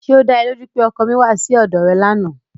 Ṣé ó da ẹ lójú pé ọkọ mi wá sí ọ̀dọ̀ rẹ lánàá?